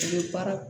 U bɛ baara